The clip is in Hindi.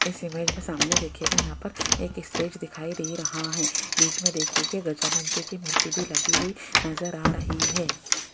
इस इमेज़ में सामने देखिएगा यहां पर एक स्टेज दिखाई दे रहा हैं बीच में देखिए कि गजानन जी की मूर्ति भी लगी हुई नजर आ रही हैं।